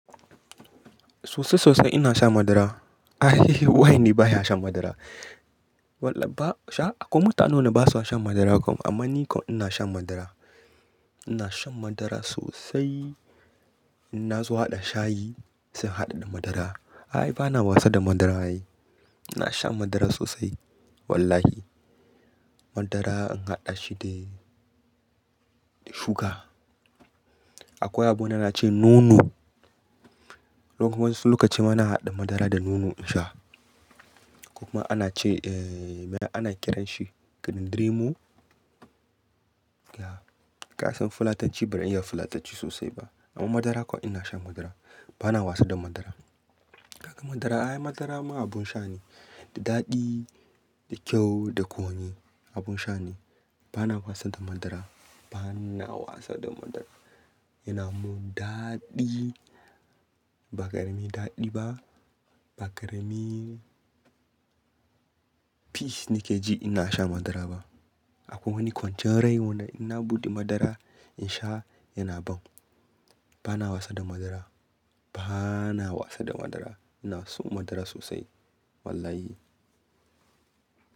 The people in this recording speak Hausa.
Sosai sosai ina sha madara. Wai ni baya shan madara. Wallah ba sha-- akwai mutane da ba sa shan madara kam amma ni kam ina shan madara. Ina shan madara sosai. In na zo haɗa shayi sai in haɗa da madara. Ai, bana wasa da madara. Ina shan madara sosai wallahi. Madara in haɗa shi da, da shuga. Akwai abune ana ce nono. Kuma wasu lokaci ma ina haɗa madara da nono in sha. Kuma ana ce, eh, me ana kiran shi? Odirimu? Ya. Kasan fulatanci ba zan iya fulatanci sosai ba amma madara kuwa ina shan madara. Bana wasa da madara. Kaga madara, ai madara ma abun sha ne, da daɗi, da kyau, da kunu, abun sha ne. Bana wasa da madara. Bana wasa da madara. Yana mun daɗi. Ba ƙarami daɗi ba. Ba ƙarami peace nake ji ina sha madara ba. Akwai wani kwanciyar rai wanda ina buɗe madara in sha yana ban. Bana wasa da madara. Bana wasa da madara. Ina so madara sosai wallahi.